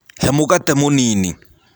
He mũgate mũnĩnĩ.